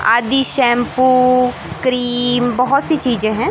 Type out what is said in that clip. आदि shampoo cream बहोत सी चीजें हैं।